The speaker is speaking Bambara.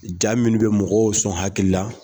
Ja minnu bɛ mɔgɔw sɔn hakili la